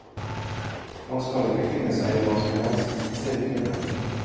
Man skal ikke finne seg i hva som helst, sier kvinnen.